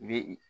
I bi